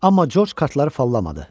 Amma Corc kartları fallamadı.